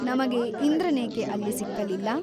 ನಮಗೆ ಇಂದ್ರನೇಕೆ ಅಲ್ಲಿ ಸಿಕ್ಕಲಿಲ್ಲ ?